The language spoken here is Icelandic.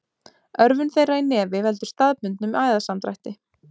Örvun þeirra í nefi veldur staðbundnum æðasamdrætti.